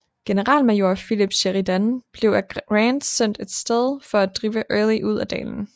Generalmajor Philip Sheridan blev af Grant sendt af sted for at drive Early ud af dalen